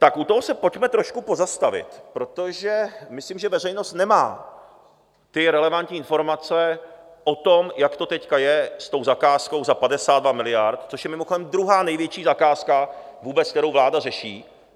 Tak u toho se pojďme trošku pozastavit, protože myslím, že veřejnost nemá ty relevantní informace o tom, jak to teď je s tou zakázkou za 52 miliard, což je mimochodem druhá největší zakázka vůbec, kterou vláda řeší.